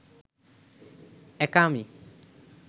একা আমি